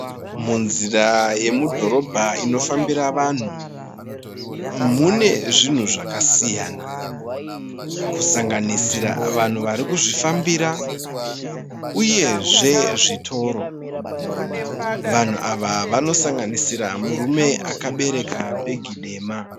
Munzira yemudhororobha inofambira vanhu mune zvinhu zvakasiyana kusanganisira vanhu vari kuzvifambira uye zvitoro. Vanhu ava vanosanganisira murume akabereka bhegi dema.